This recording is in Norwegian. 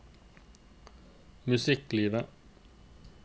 musikklivet